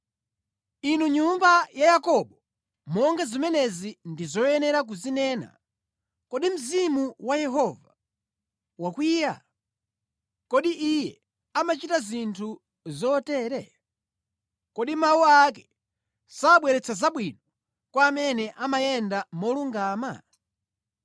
Inu nyumba ya Yakobo, monga zimenezi ndi zoyenera kuzinena: “Kodi Mzimu wa Yehova wakwiya? Kodi Iye amachita zinthu zotere?” “Kodi mawu ake sabweretsa zabwino kwa amene amayenda molungama?